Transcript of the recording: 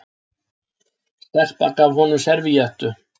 Stelpa gaf honum servíettu.